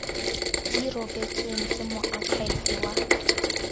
di rebotsweng ke moakhaefe wa